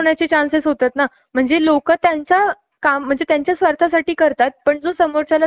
आज माझी मैत्रीण सापडली , असे कित्येक लोक असतील ज्यांना ह्या साऊंड पोल्युशन चा त्रास झालेला असेल ,